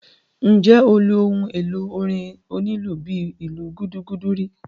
Ǹjẹ́ o lu ohun èlò orin onílù bíi ìlù gúdúgúdú rí?